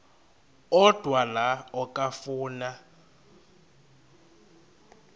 odwa la okafuna